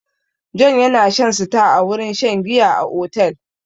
Jonh yana shan star a wurin shan giya a otel.